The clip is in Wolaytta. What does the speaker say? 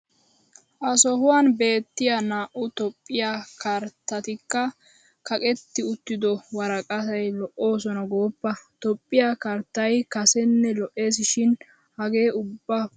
Ha sohuwan beettiya naa"u Toophphiya karttatikka kaqetti utttido worqqati lo'oosona gooppa! Toophphiya karttay kasenne lo'ees shin hagee ubba puulaa gujjiis.